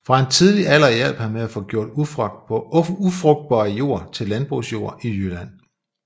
Fra en tidlig alder hjalp han med at få gjort ufrugtbar jord til landbrugsjord i Jylland